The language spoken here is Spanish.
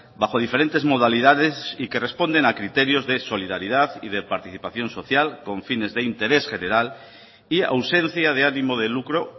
bajo diferentes modalidades y que responden a criterios de solidaridad y de participación social con fines de interés general y ausencia de ánimo de lucro